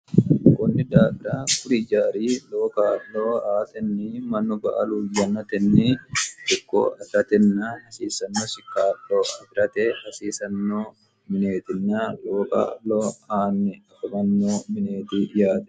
kunni daagira kurijaari loo qaa'loo aatenni mannu ba aluhwonnatenni cokko afiratenna hasiisanno shikaa'lo ifirate hasiisanno mineetinya loo qaa'loo aanni afomanno mineeti yaati